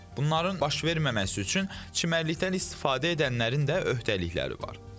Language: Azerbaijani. Bunların baş verməməsi üçün çimərlikdən istifadə edənlərin də öhdəlikləri var.